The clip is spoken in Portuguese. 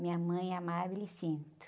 Minha mãe,